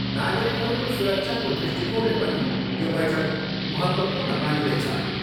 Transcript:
नागरिकहरूको सुरक्षाको दृष्टिकोणले पनि यो बैठक महत्त्वपूर्ण मानिँदैछ।